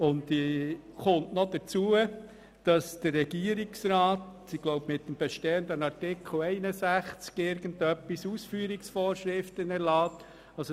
Hinzu kommt, dass der Regierungsrat, wenn ich mich richtig erinnere gemäss bestehendem Artikel 61, Ausführungsvorschriften erlässt.